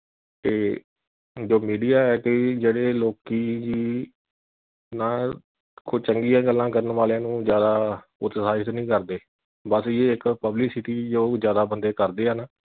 ਏ ਜੋ media ਹੈ ਕਿ ਜਿਹੜੇ ਲੋਕੀ, ਨਾ ਕੋ ਚੰਗੀਆਂ ਗੱਲਾਂ ਕਰਨ ਵਾਲਿਆ ਨੂੰ ਜਿਆਦਾ ਉਤਸ਼ਾਹਿਤ ਨਹੀਂ ਕਰਦੇ। ਬਸ ਯੇ ਇਕ publicity ਓ ਜਿਆਦਾ ਬੰਦੇ ਕਰਦੇ ਹੈਨਾ